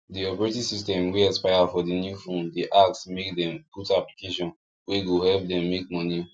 the operating system wey expire for the new phonedey ask make them put application wey go help them make money